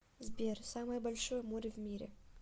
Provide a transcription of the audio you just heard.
сбер самое большое море в мире